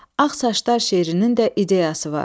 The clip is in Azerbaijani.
Ağ saçlar şeirinin də ideyası var.